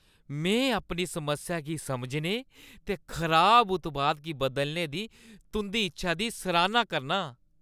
में अपनी समस्या गी समझने ते खराब उत्पाद गी बदलने दी तुंʼदी इच्छा दी सराह्‌ना करना आं।